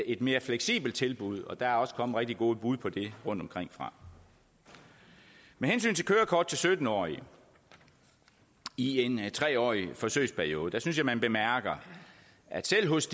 et mere fleksibelt tilbud og der er også kommet rigtig gode bud på det rundtomkring fra med hensyn til kørekort til sytten årige i en tre årig forsøgsperiode synes jeg at man bemærker at selv hos